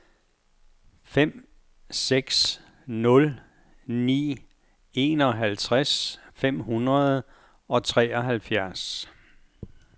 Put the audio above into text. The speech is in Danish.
fem seks nul ni enoghalvtreds fem hundrede og treoghalvfjerds